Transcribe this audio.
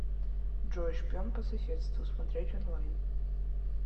джой шпион по соседству смотреть онлайн